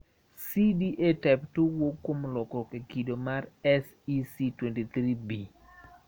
CDA type II wuok kuom lokruok e kido mar SEC23B.